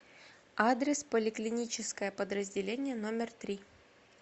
адрес поликлиническое подразделение номер три